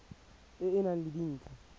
e e nang le dintlha